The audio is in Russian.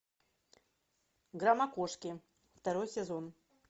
громокошки второй сезон